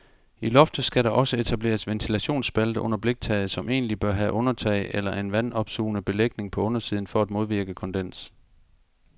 I loftet skal der også etableres ventilationsspalte under bliktaget, som egentlig bør have undertag eller en vandopsugende belægning på undersiden, for at modvirke kondens.